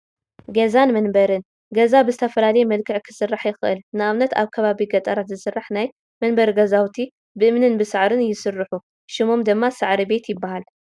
ገዛን መንበርን፡- ገዛ ብዝተፈላለየ መልክዕ ክስራሕ ይኽእል፡፡ ንኣብነት ኣብ ከባቢ ገጠራት ዝስራሕ ናይ መንበሪ ገዛውቲ ብእምንን ብሳዕርን ይስርሑ ሽሞም ድማ ሳዕሪ ቤት ይባሃል፡፡